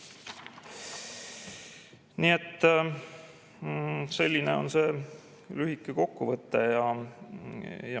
Nii et selline on lühike kokkuvõte.